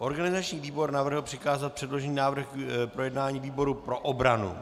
Organizační výbor navrhl přikázat předložený návrh k projednání výboru pro obranu.